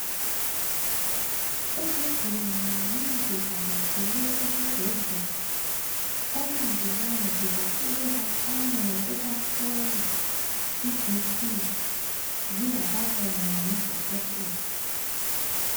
Izigulane nxa zivakatshele esibhedlela, omongikazi bafike baqale ngokubahlola iBp zingakabonwa ngudokotela.